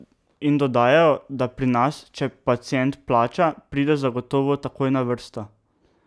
In dodajajo, da pri nas, če pacient plača, pride zagotovo takoj na vrsto.